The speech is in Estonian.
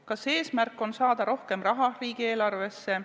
Kas eesmärk on saada rohkem raha riigieelarvesse?